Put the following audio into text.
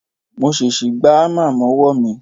Mo ṣèṣì gbá hámà mọ́wọ́ mi